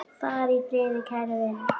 Far í friði, kæri vinur.